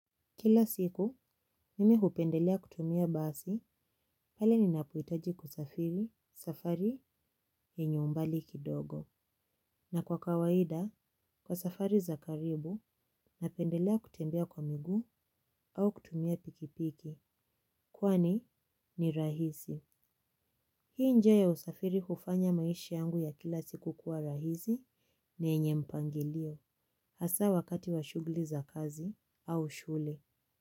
Kila siku, mimi hupendelea kutumia basi pale ninapohitaji kusafiri, safari, yenye umbali kidogo. Na kwa kawaida, kwa safari za karibu, napendelea kutembea kwa miguu au kutumia pikipiki. Kwani ni rahisi. Hii njia ya usafiri hufanya maishi yangu ya kila siku kuwa rahisi, yenye mpangilio, hasa wakati wa shughuli za kazi au shule.